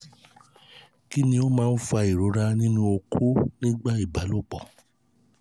kí ló máa ń fa ìrora nínú oko nígbà ìbálòpọ̀?